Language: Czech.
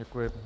Děkuji.